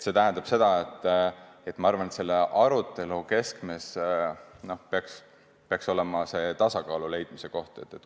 Ma arvan, et selle arutelu keskmes peaks olema see tasakaalu leidmise koht.